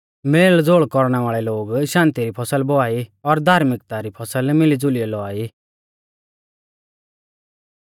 मेलज़ोल कौरणै वाल़ै लोग शान्ति री फसल बौआ ई और धार्मिकता री फसल मिलीज़ुलियौ लौआ ई